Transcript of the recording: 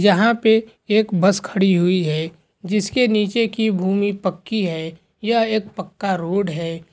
यहाँ पे एक बस खड़ी हुई है जिस के नीचे की भूमि पक्की है यह एक पक्का रोड है।